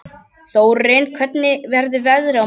Þórinn, hvernig verður veðrið á morgun?